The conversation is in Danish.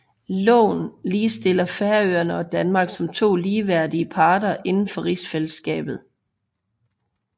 Loven ligestiller Færøerne og Danmark som to ligeværdige parter indenfor rigsfællesskabet